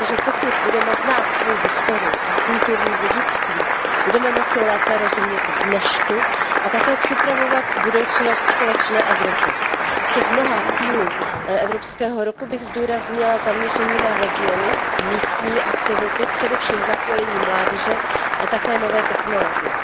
Protože pokud budeme znát svoji historii a kulturní dědictví, budeme moci lépe rozumět dnešku a také připravovat budoucnost společné Evropy. Z těch mnoha cílů evropského roku bych zdůraznila zaměření na regiony, místní aktivity, především zapojení mládeže a také nové technologie.